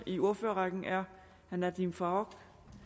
i ordførerrækken er herre nadeem farooq